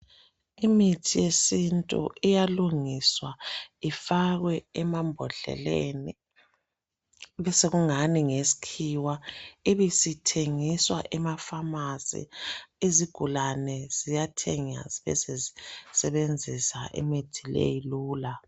Imithi yesintu iyalungiswa ifakwe emambodleleni. Besekungani ngeyesikhiwa. lbisithengiswa emapharmacy. Izigulani ziyathenga, zibesezisebenzisa imithi leyi lula.